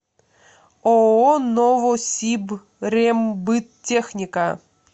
ооо новосибрембыттехника